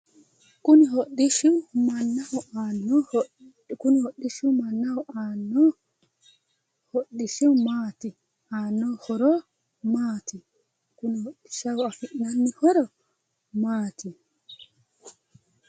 kuni hodhishshi mannaho aanno horo hodhishshi maati?